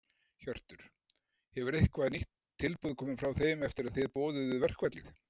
Hjörtur: Hefur eitthvað nýtt tilboð komið frá þeim eftir að þið boðuðu verkfallið?